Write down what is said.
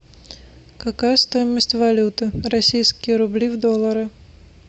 какая стоимость валюты российские рубли в доллары